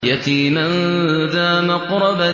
يَتِيمًا ذَا مَقْرَبَةٍ